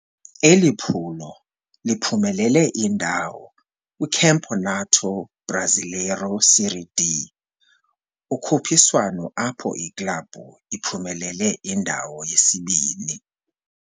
Eli phulo liphumelele indawo kwiCampeonato Brasileiro Série D, ukhuphiswano apho iklabhu iphumelele indawo yesibini.